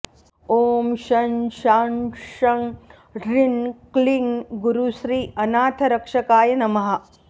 ॐ शं शां षं ह्रीं क्लीं गुरुश्री अनाथरक्षकाय नमः